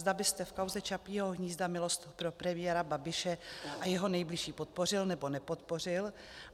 Zda byste v kauze Čapího hnízda milost pro premiéra Babiše a jeho nejbližší podpořil, nebo nepodpořil.